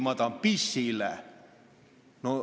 Ma tahan pissile.